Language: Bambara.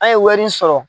An ye wɛri sɔrɔ